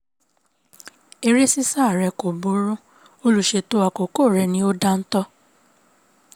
eré ṣíṣá re kò burú olùṣètò àkókò rẹ̀ ni ò dáńtọ́